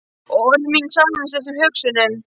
Og orð mín sameinast þessum hugsunum.